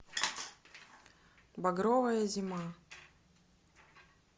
багровая зима